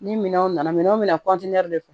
Ni minɛnw nana minɛnw min na de don